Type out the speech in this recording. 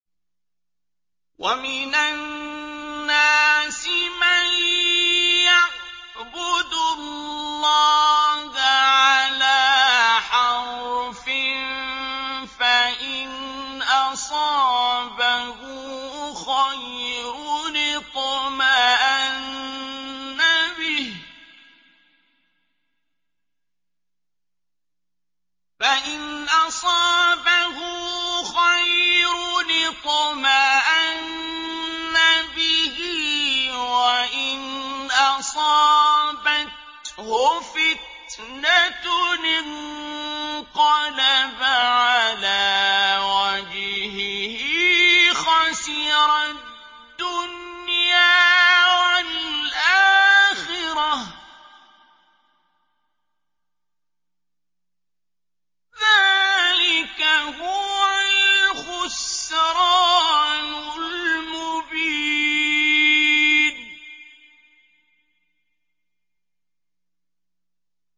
وَمِنَ النَّاسِ مَن يَعْبُدُ اللَّهَ عَلَىٰ حَرْفٍ ۖ فَإِنْ أَصَابَهُ خَيْرٌ اطْمَأَنَّ بِهِ ۖ وَإِنْ أَصَابَتْهُ فِتْنَةٌ انقَلَبَ عَلَىٰ وَجْهِهِ خَسِرَ الدُّنْيَا وَالْآخِرَةَ ۚ ذَٰلِكَ هُوَ الْخُسْرَانُ الْمُبِينُ